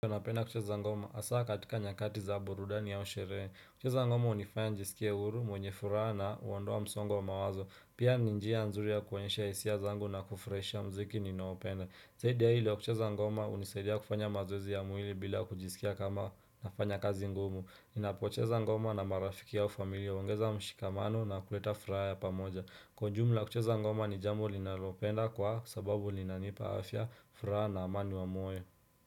Napenda kucheza ngoma hasaa katika nyakati za burudani au sherehe. Kucheza ngoma hunifanya nijiskie huru, mwenye furaha na huondoa msongo wa mawazo. Pia ni njia nzuri ya kuonyesha hisia zangu na kufurahisha mziki ninaopenda. Zaidi ya hilo kucheza ngoma hunisaidia kufanya mazoezi ya mwili bila kujisikia kama nafanya kazi ngumu Napocheza ngoma na marafiki au familia huongeza mshikamano na kuleta furaha ya pamoja. Kwa ujumla kucheza ngoma ni jambo linalopenda kwa sababu linanipa afya, furaha na amani wa moyo.